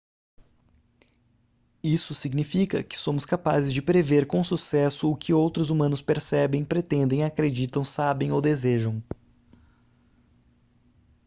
isso significa que somos capazes de prever com sucesso o que outros humanos percebem pretendem acreditam sabem ou desejam